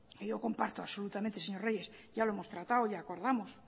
que yo comparto absolutamente señor reyes ya lo hemos tratado y acordamos